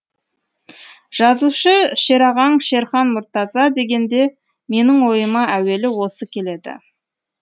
жазушы шерағаң шерхан мұртаза дегенде менің ойыма әуелі осы келеді